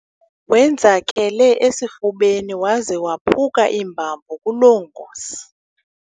Wenzakele esifubeni waze waphuka iimbambo kuloo ngozi.